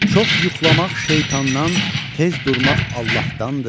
Çox yuxlamaq şeytandan, tez durmaq Allahdandır.